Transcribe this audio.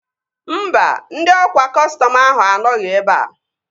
Mba, ndị ọkwa kọstọm ahụ anọghị ebea